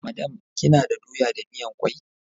Madam, kina da doya da miyan kwai?